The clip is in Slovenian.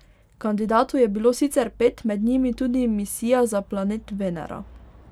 Kandidatov je bilo sicer pet, med njimi tudi misija za planet Venera.